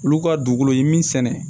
Olu ka dugukolo ye min sɛnɛ